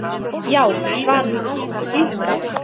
Já, svarar hún án þess að blikna.